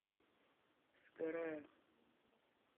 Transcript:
сгораю